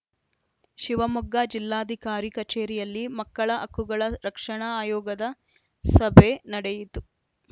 ಶಿವಮೊಗ್ಗ ಜಿಲ್ಲಾಧಿಕಾರಿ ಕಚೇರಿಯಲ್ಲಿ ಮಕ್ಕಳ ಹಕ್ಕುಗಳ ರಕ್ಷಣಾ ಆಯೋಗದ ಸಭೆ ನಡೆಯಿತು